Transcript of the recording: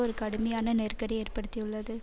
ஒரு கடுமையான நெருக்கடியை ஏற்படுத்தியுள்ளது